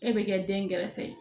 E bɛ kɛ den kɛrɛfɛ ye